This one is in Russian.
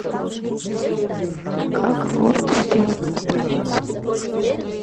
как ворд сделать по странице